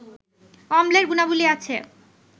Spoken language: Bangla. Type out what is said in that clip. অম্লের গুণাবলি আছে